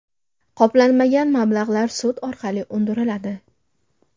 Qoplanmagan mablag‘lar sud orqali undiriladi.